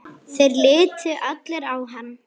Þeir litu allir á hann.